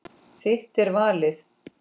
Þitt er valið.